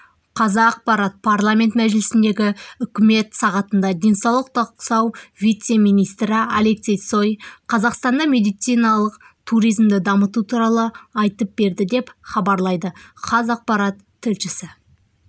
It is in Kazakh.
қазақпарат парламент мәжілісіндегі үкімет сағатында денсаулық сақтау вице-министрі алексей цой қазақстанда медициналық туризмді дамыту туралы айтып берді деп хабарлайды қазақпарат тілшісі